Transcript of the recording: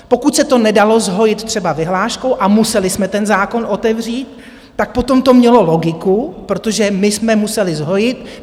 Pokud se to nedalo zhojit třeba vyhláškou a museli jsme ten zákon otevřít, tak potom to mělo logiku, protože my jsme museli zhojit.